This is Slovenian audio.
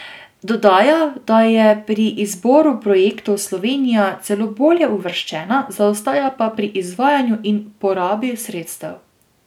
Dodaja, da je pri izboru projektov Slovenija celo bolje uvrščena, zaostaja pa pri izvajanju in porabi sredstev.